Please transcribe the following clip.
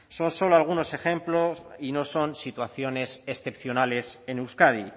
son solo algunos ejemplos y no son situaciones excepcionales en euskadi